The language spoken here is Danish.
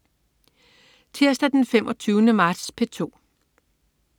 Tirsdag den 25. marts - P2: